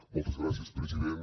moltes gràcies president